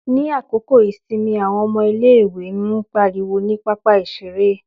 Ní àkókò ìsinmi àwọn ọmọ ilé-ìwé ń pariwo ní pápá-ìṣeré.